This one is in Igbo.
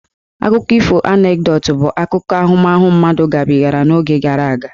Akụkọ Anekdot bụ akụkọ ahụmahụ mmadụ gabigara n'oge gara aga.